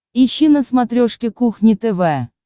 ищи на смотрешке кухня тв